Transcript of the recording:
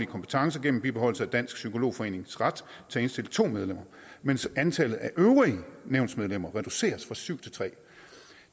kompetencer gennem bibeholdelse af dansk psykolog forenings ret til at indstille to medlemmer mens antallet af øvrige nævnsmedlemmer reduceres fra syv til tredje